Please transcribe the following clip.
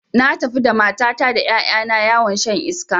Na tafi da matata da ƴaƴa na yawon shan iska